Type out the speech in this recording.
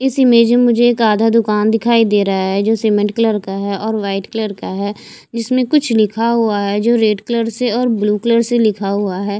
इस इमेज में मुझे एक आधा दुकान दिखाई दे रहा है जो सीमेंट कलर का है और वाइट कलर का है जिसमें कुछ लिखा हुआ है जो रेड कलर से और ब्लू कलर से लिखा हुआ है।